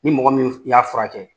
Ni mɔgɔ min y'a furakɛ.